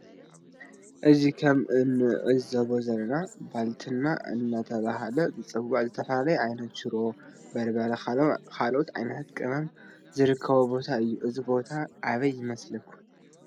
እዚ ከም እንዕዞቦ ዘለና ባልትና እናተባህለ ዝፅዋዕ ዝተፈላለዩ ዓይነት ሽሮ በርበረን ካልኦት ዓይነታት ቅመም ዝርከበሉ ቦታ እዩ። እዚ ቦታ አበይ ይመስለኩም?